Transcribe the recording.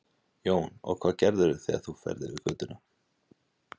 Jón: Og hvað gerirðu þegar þú ferð yfir götuna?